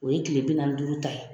O ye tile bi naani ni duuru ta ye.